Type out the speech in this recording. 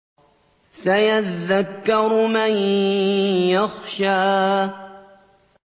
سَيَذَّكَّرُ مَن يَخْشَىٰ